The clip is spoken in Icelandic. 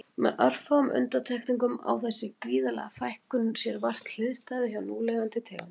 Með örfáum undantekningum á þessi gríðarlega fækkun á sér vart hliðstæðu hjá núlifandi tegundum.